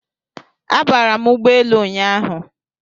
Abara m ụgbọ elu ụnyahụ